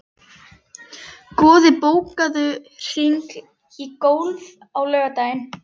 Goði, bókaðu hring í golf á laugardaginn.